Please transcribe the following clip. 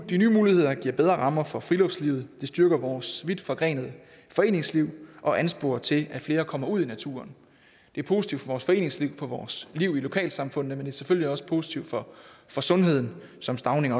de nye muligheder giver bedre rammer for friluftslivet de styrker vores vidtforgrenede foreningsliv og ansporer til at flere kommer ud i naturen det er positivt for vores foreningsliv for vores liv i lokalsamfundene men det er selvfølgelig også positivt for sundheden som stauning